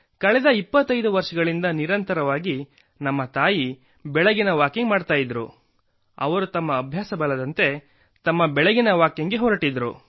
ಕಳೆದ ಇಪ್ಪತ್ತೈದು ವರ್ಷಗಳಿಂದ ನಿರಂತರವಾಗಿ ನಮ್ಮ ತಾಯಿ ಬೆಳಗಿನ ವಾಕಿಂಗ್ ಮಾಡುತ್ತಿದ್ದರು ಅವರು ತಮ್ಮ ಅಭ್ಯಾಸಬಲದಂತೆ ಬೆಳಗಿನ ಜಾವ 4 ಗಂಟೆಗೆ ತಮ್ಮ ಬೆಳಗಿನ ವಾಕಿಂಗ್ ಗೆ ಹೊರಟಿದ್ದರು